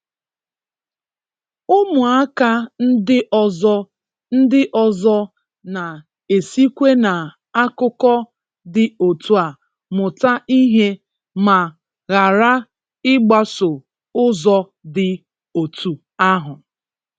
ụmụaka ndị ọzọ ndị ọzọ na-esikwa na akụkọ dị otu a mụta ihe ma ghara ịgbaso ụzọ dị otú ahụ.